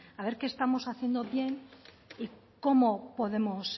a ver qué estamos haciendo bien y cómo podemos